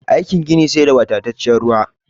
Aikin gini sai da wadatacciyar ruwa